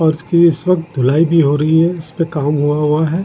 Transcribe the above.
फर्श की इस वक्त धुलाई भी हो रही है इस पे काम हुआ हुआ है।